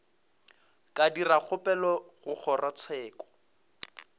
ka dira kgopelo go kgorotsheko